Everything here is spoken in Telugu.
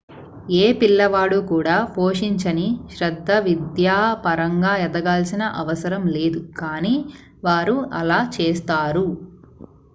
ఏ పిల్లవాడు కూడా పోషించని శ్రద్ధ విద్యాపరంగా ఎదగాల్సిన అవసరం లేదు కానీ వారు అలా చేస్తారు